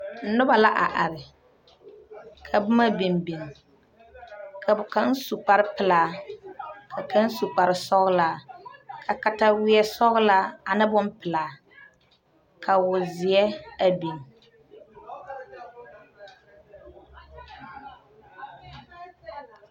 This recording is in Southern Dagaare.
Noba la are ka boma biŋ biŋ ka kaŋ su kparepelaa ka kaŋ su kparesɔglaa ka kataweɛ sɔglaa ane bonpelaa ka wozeɛ a biŋ.